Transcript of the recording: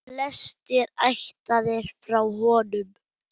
Flestir ættaðir frá honum.